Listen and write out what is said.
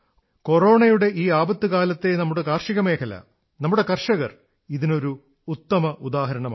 കൊറോണയുടെ ഈ ആപത്തു കാലത്തെ നമ്മുടെ കാർഷിക മേഖല നമ്മുടെ കർഷകർ ഇതിനൊരു ഉത്തമോദാഹരണമാണ്